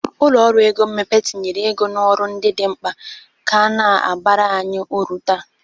Ụlọ ọrụ ego mmepe tinyere ego n'ọrụ ndị dị mkpa ka na-abara anyị uru taa.